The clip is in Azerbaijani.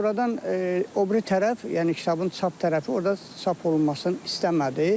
Sonradan o biri tərəf, yəni kitabın çap tərəfi orda çap olunmasını istəmədi.